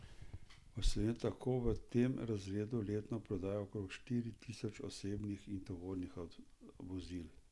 V Sloveniji tako v tem razredu letno prodajo okrog štiri tisoč osebnih in tovornih vozil.